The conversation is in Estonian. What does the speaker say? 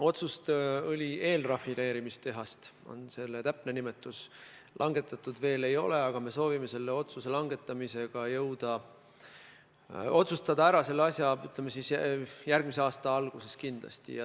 Otsust rajada õli eelrafineerimise tehas, nagu on selle täpne nimetus, langetatud veel ei ole, aga me soovime selle asja ära otsustada järgmise aasta alguses kindlasti.